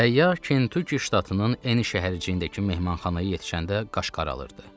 Səyyah Kəntuki ştatının Emi şəhərciyindəki mehmanxanaya yetişəndə qaş qaralırdı.